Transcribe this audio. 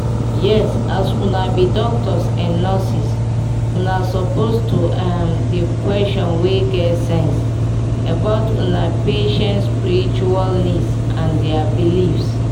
yes na as una be doctors and nurses una suppose to um dey questions wey um geh sense about una patients spiritual needs and their beliefs